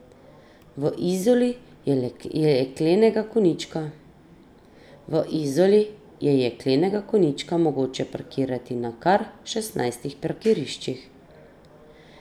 V Izoli je jeklenega konjička mogoče parkirati na kar šestnajstih parkiriščih.